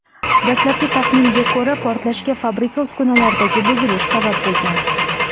Dastlabki taxminga ko‘ra, portlashga fabrika uskunalaridagi buzilish sabab bo‘lgan.